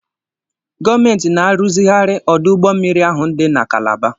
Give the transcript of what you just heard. Gọọmentị na-arụzigharị ọdụ ụgbọ mmiri ahụ dị na kalaba.